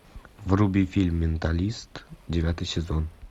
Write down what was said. вруби фильм менталист девятый сезон